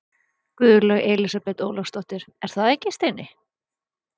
Guðlaug Elísabet Ólafsdóttir: Er það ekki, Steini?